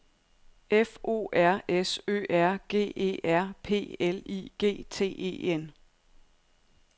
F O R S Ø R G E R P L I G T E N